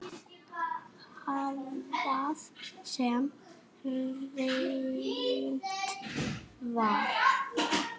Hvað sem reynt var.